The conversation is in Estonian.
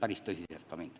Andres Metsoja, palun!